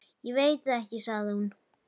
Ég veit það ekki sagði hún.